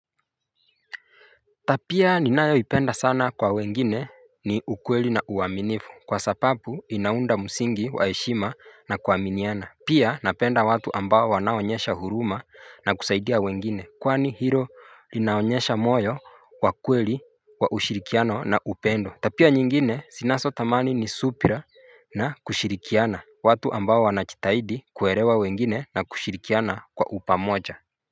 Tabia, ninayo ipenda sana kwa wengine. Ni ukweli na uaminifu kwa sababu, inaunda msingi waheshima na kuaminiana. Pia napenda watu ambao wanaonyesha huruma na kusaidia wengine. Kwani hilo linaonyesha moyo wa kweli wa ushirikiano na upendo. Tabia nyingine ninazotamani ni subira. Na kushirikiana watu ambao wanajitahidi kuelewa wengine na kushirikiana kwa upamoja.